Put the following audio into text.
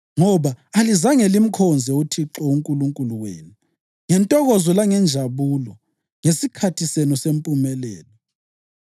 Ngoba alizange limkhonze uThixo uNkulunkulu wenu ngentokozo langenjabulo ngesikhathi senu sempumelelo,